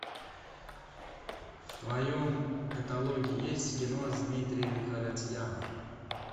в твоем каталоге есть кино с дмитрием харатьяном